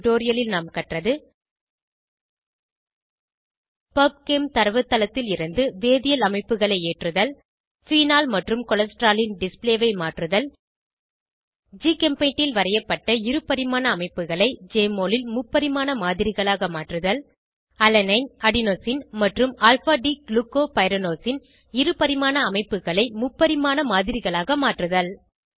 இந்த டுடோரியலில் நாம் கற்றது பப்செம் தரவுத்தளத்திலிருந்து வேதியியல் அமைப்புகளை ஏற்றுதல் ஃபீனால் மற்றும் கொலஸ்ட்ரால் ன் டிஸ்ப்ளே ஐ மாற்றுதல் ஜிகெம்பெய்ண்டில் வரையப்பட்ட இருபரிமாண அமைப்புகளை ஜெஎம்ஒஎல் ல் முப்பரிமாண மாதிரிகளாக மாற்றுதல் அலனைன் அடினோசின் மற்றும் ஆல்ஃபா டி க்ளுகோபைரநோஸ் ன் இருபரிமாண அமைப்புகளை முப்பரிமாண மாதிரிகளாக மாற்றுதல்